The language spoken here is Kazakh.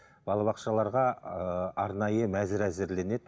балабақшаларға ыыы арнайы мәзір әзірленеді